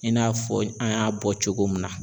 I n'a fɔ an y'a bɔ cogo min na